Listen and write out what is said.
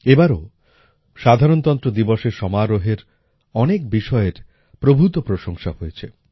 এবারও সাধারণতন্ত্র দিবসের সমারোহের অনেক বিষয়ের প্রভূত প্রশংসা হয়েছে